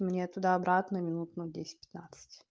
мне туда обратно минут на десять пятнадцать